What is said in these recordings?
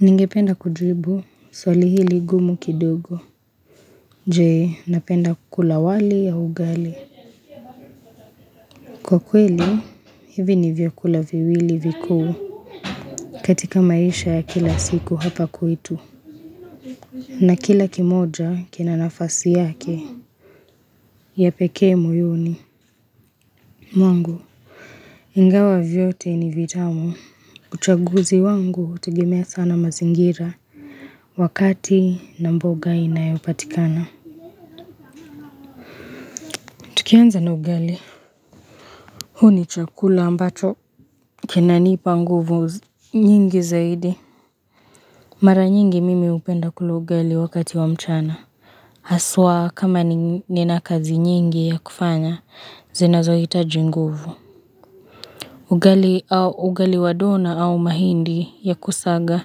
Ningependa kujibu, swali hili ngumu kidogo Je, napenda kukula wali au ugali Kwa kweli, hivi ni vyakula viwili vikuu katika maisha ya kila siku hapa kwetu na kila kimoja kina nafasi yake ya pekee moyoni mwangu, ingawa vyote ni vitamu uchaguzi wangu hutegemea sana mazingira Wakati na mboga inayopatikana Tukianza na ugali huu ni chakula ambacho kinanipa nguvu nyingi zaidi. Mara nyingi mimi hupenda kula ugali wakati wa mchana. Aswa kama nina kazi nyingi ya kufanya, zinazohitaji nguvu. Ugali au ugali wa dona au mahindi ya kusaga,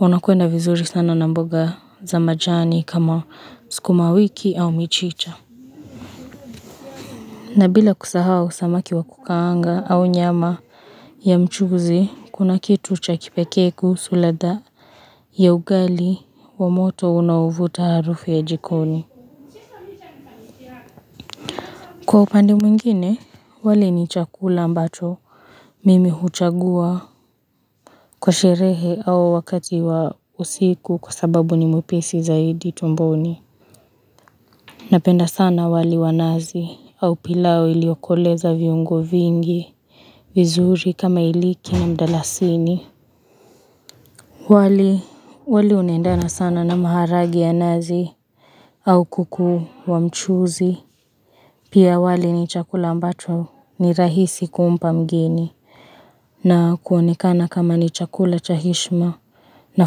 unakwenda vizuri sana na mboga za majani kama sukuma wiki au michicha. Na bila kusahau samaki wa kukaanga au nyama ya mchuzi, kuna kitu cha kipekee kuhusu ladha ya ugali wa moto unaovuta harufu ya jikoni. Kwa upande mwingine, wali ni chakula ambacho mimi huchagua kwa sherehe au wakati wa usiku kwa sababu ni mwepesi zaidi tumboni. Napenda sana wali wa nazi au pilau iliokoleza viungo vingi vizuri kama iliki na mdalasini. Wali unaendana sana na maharage ya nazi au kuku wa mchuzi. Pia wali ni chakula ambacho ni rahisi kumpa mgeni na kuonekana kama ni chakula cha heshma na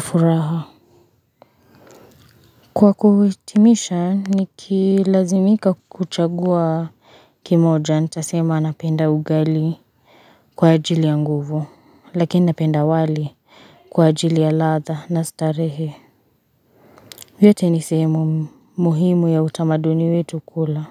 furaha. Kwa kuhitimisha nikilazimika kuchagua kimoja nitasema napenda ugali kwa ajili ya nguvu lakini napenda wali kwa ajili ya ladha na starehe vyote ni sehemu muhimu ya utamaduni wetu kula.